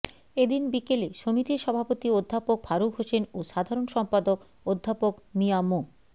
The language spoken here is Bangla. এদিন বিকেলে সমিতির সভাপতি অধ্যাপক ফারুক হোসেন ও সাধারণ সম্পাদক অধ্যাপক মিয়া মো